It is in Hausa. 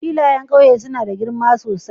Filayen ƙauye suna da girma sosai